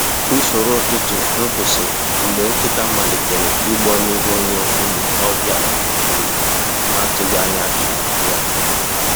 Usoro ụtụtụ m kwụsịrị mgbe nkịta malitere igbọ n’ihu onye um ọbịa a um na-atụghị anya um ya.